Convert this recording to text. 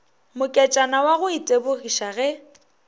moketšana wa go itebogiša ge